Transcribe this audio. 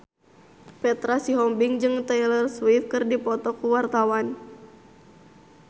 Petra Sihombing jeung Taylor Swift keur dipoto ku wartawan